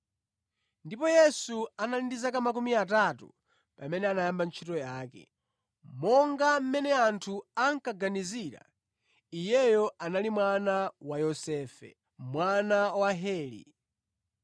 Ndipo Yesu anali ndi zaka makumi atatu pamene anayamba ntchito yake. Monga mmene anthu ankaganizira, Iyeyo anali mwana wa Yosefe, mwana wa Heli,